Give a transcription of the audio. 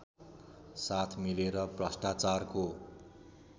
साथ मिलेर भ्रष्टाचारको